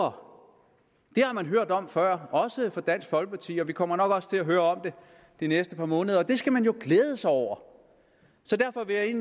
om før også fra dansk folkeparti og vi kommer nok også til at høre om det de næste par måneder og det skal man jo glæde sig over så derfor vil jeg